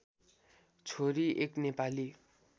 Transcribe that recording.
छोरी एक नेपाली